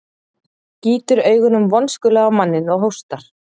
Gýtur augunum vonskulega á manninn og hóstar.